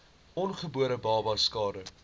ongebore babas skade